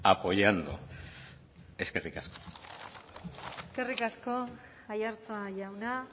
apoyando eskerrik asko eskerrik asko aiartza jauna